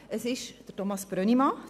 Es handelt sich um Thomas Brönnimann.